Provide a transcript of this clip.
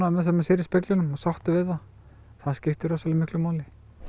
það sem maður sér í speglinum og sáttur við það það skiptir rosalega miklu máli